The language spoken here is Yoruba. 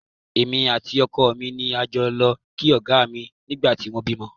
Èmi àti ọkọ mi ni a jọ lọ kí Ọ̀gá mi nígbà tí wọ́n bímọ